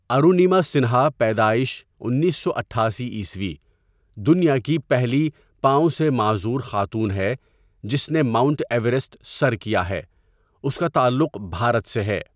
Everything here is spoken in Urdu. ارونِیما سنہا پیدائش انیس سو اٹھاسی عیسوی دنیا کی پہلی پاؤں سے معذور خاتون ہے جس نے ماؤنٹ ایورسٹ سر کیا ہے، اس کا تعلق بھارت سے ہے.